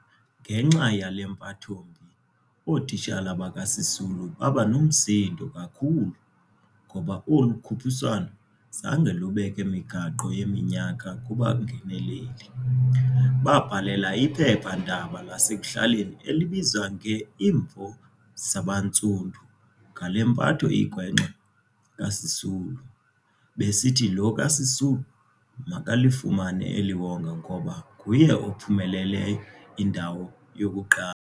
Ngenxa yale mpathombi, ootitshala bakaSisulu babanomsindo kakhulu, ngoba olu khuphiswano zange lubeke migaqo yeminyaka kubangeneleli. Babhalela iphepha-ndaba lasekuhlaleni elibizwa nge-Imvo Zabantsundu ngale mpatho igwenxa kaSisulu, besithi lo kaSisulu makalifumane eliwonga ngoba nguye ophumelele indawo yokuqala.